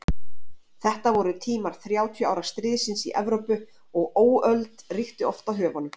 Þetta voru tímar Þrjátíu ára stríðsins í Evrópu og óöld ríkti oft á höfunum.